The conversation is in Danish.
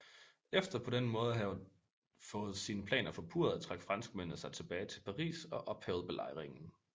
Efter på denne måde at havet fået sine planer forpurret trak franskmændene sig tilbage til Paris og ophævede belejringen